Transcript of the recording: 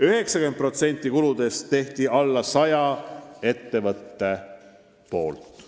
90% kuludest tegid vähem kui sada ettevõtet.